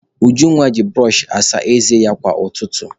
Ujunwa ji bụrọchị asa ézé ya kwa ụtụtụ.